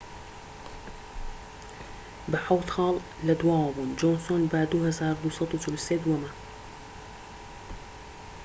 بە حەوت خاڵ لە دواوە بوون جۆنسۆن بە 2243 دووەمە